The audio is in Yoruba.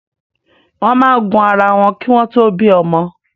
Wọn máa ń gun ara wọn ki wọn to bí ọmọ